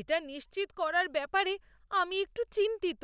এটা নিশ্চিত করার ব্যাপারে আমি একটু চিন্তিত।